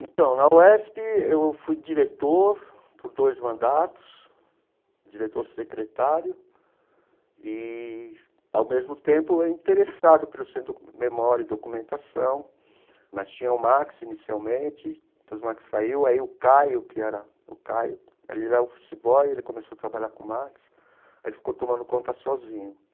Então, na UESP, eu fui diretor por dois mandatos, diretor secretário e, ao mesmo tempo, interessado pelo centro de memória e documentação, mas tinha o Max inicialmente, depois o Max saiu, aí o Caio, que era o Caio, ele joga futebol e ele começou a trabalhar com o Max, e aí ficou tomando conta sozinho.